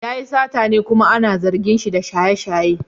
Yayi satane kuma ana zargin shi da shaye-shaye.